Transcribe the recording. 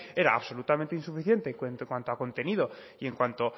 era absolutamente insuficiente en cuanto a contenido y en cuanto